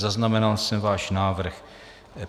Zaznamenal jsem váš návrh.